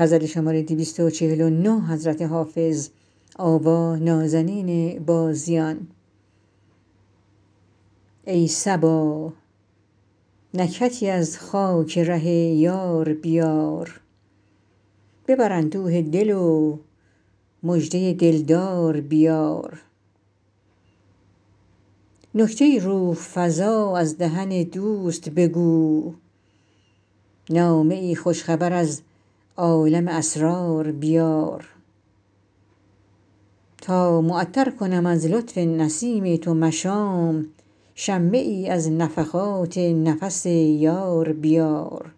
ای صبا نکهتی از خاک ره یار بیار ببر اندوه دل و مژده دل دار بیار نکته ای روح فزا از دهن دوست بگو نامه ای خوش خبر از عالم اسرار بیار تا معطر کنم از لطف نسیم تو مشام شمه ای از نفحات نفس یار بیار